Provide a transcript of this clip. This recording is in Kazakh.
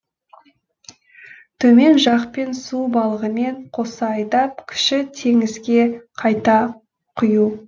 төмен жақпен су балығымен қоса айдап кіші теңізге қайта құю